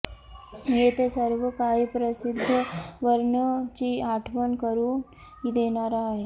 येथे सर्व काही प्रसिद्ध वर्ण ची आठवण करून देणारा आहे